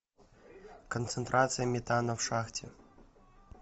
концентрация метана в шахте